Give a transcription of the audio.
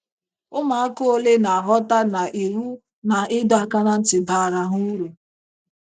Ụmụaka ole na - aghọta na iwu na ịdọ aka ná ntị baara ha uru?